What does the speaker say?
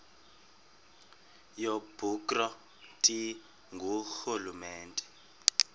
yobukro ti ngurhulumente